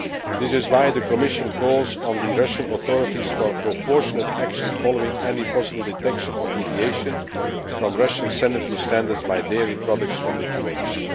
This is why the Commission calls on the Russian authorities for proportionate action following any possible detection or deviation from Russian sanitary standards by dairy products from Lithuania.